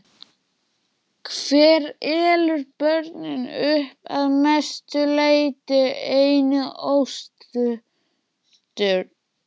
Hver elur börnin upp, að mestu leyti einn og óstuddur?